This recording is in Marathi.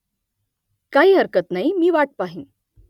काही हरकत नाही मी वाट पाहेन